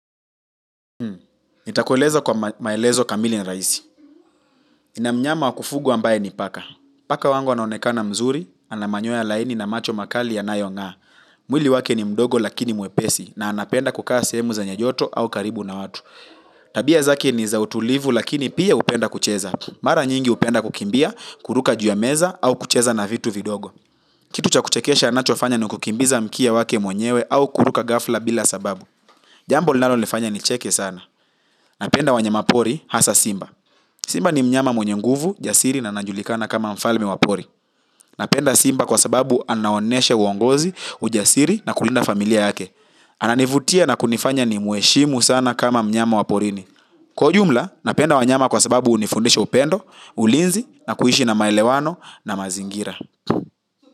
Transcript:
Nitakueleza kwa maelezo kamili ni rahisi. Nina mnyama wa kufugwa ambaye ni paka. Paka wangu anaonekana mzuri, ana manyoya laini na macho makali yanayong'aa. Mwili wake ni mdogo lakini mwepesi na anapenda kukaa sehemu zenye joto au karibu na watu. Tabia zake ni za utulivu lakini pia hupenda kucheza. Mara nyingi hupenda kukimbia, kuruka juu ya meza au kucheza na vitu vidogo. Kitu cha kuchekesha anachofanya ni kukimbiza mkia wake mwenyewe au kuruka ghafla bila sababu. Jambo linalonifanya nicheke sana. Napenda wanyama pori hasa simba. Simba ni mnyama mwenye nguvu, jasiri na anajulikana kama mfalme wa pori. Napenda simba kwa sababu anaonyesha uongozi, ujasiri na kulinda familia yake. Ananivutia na kunifanya ni mheshimu sana kama mnyama wa porini. Kwa jumla, napenda wanyama kwa sababu unifundisha upendo, ulinzi na kuishi na maelewano na mazingira.